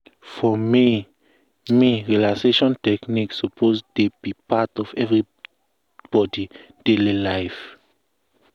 for me me relaxation technique suppose dey be part of everybody daily life.